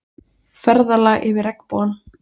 Ferðalag yfir regnbogann